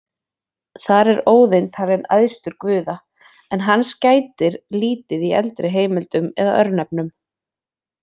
Þar er Óðinn talinn æðstur guða, en hans gætir lítið í eldri heimildum eða örnefnum.